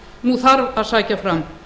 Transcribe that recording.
nú þarf að sækja fram